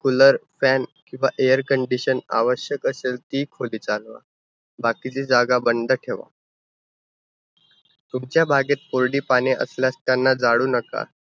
Cooler, fan किंवा air condition आवश्यक असेल ती खोली चालवा. बाकीची जागा बंद ठेवा. तुमच्या बागेत कोरडी पाने असल्यास, त्यांना जाळू नका.